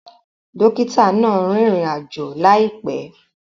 Dókítà náà rìn ìrìn-àjò láìpé